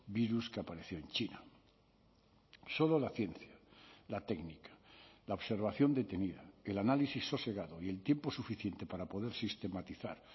virus que apareció en china solo la ciencia la técnica la observación detenida el análisis sosegado y el tiempo suficiente para poder sistematizar